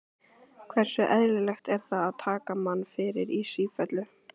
Hversu eðlilegt er það að taka mann fyrir í sífellu?